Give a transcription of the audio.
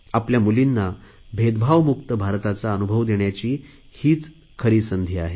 आमच्या मुलींना भेदभावमुक्त भारताचा अनुभव देण्याची हीच संधी आहे